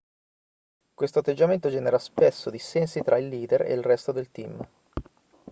questo atteggiamento genera spesso dissensi tra i leader e il resto del team